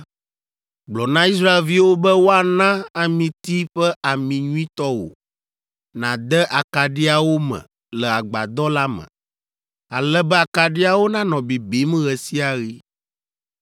“Gblɔ na Israelviwo be woana amiti ƒe ami nyuitɔ wò nàde akaɖiawo me le agbadɔ la me, ale be akaɖiawo nanɔ bibim ɣe sia ɣi.